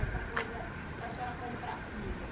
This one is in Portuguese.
essa coisa da senhora comprar comida.